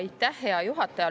Aitäh, hea juhataja!